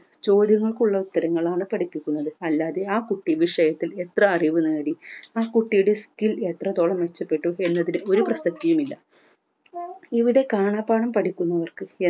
ചോദ്യങ്ങൾക്കുള്ള ഉത്തരങ്ങളാണ് പഠിപ്പിക്കുന്നത് അല്ലാതെ ആ കുട്ടി വിഷയത്തിൽ എത്ര അറിവ് നേടി ആ കുട്ടിയുടെ skill എത്രത്തോളം മെച്ചപ്പെട്ടു എന്നതിൽ ഒരു പ്രസക്തിയും ഇല്ല ഇവിടെ കാണാപാഠം പഠിക്കുന്നവർക്ക്